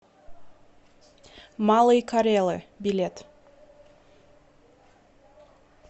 малые карелы билет